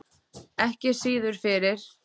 Ekki síður fyrir